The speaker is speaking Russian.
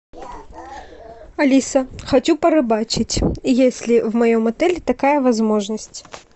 алиса хочу порыбачить есть ли в моем отеле такая возможность